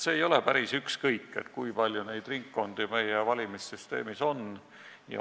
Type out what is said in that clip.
Ei ole päris ükskõik, kui palju ringkondi meie valimissüsteemis on.